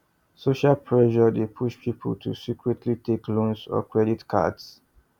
social pressure dey push people to secretly take loans or credit cards